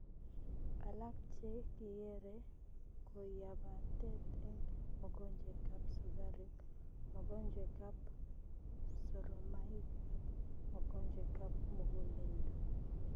Alaak chee kikeree ko yapatet eng mogonjwet ab sukaruk mogonjwet ab soromaik ak mogonjwet ab muguleldo